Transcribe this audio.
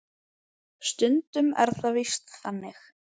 Stundum er það víst þannig.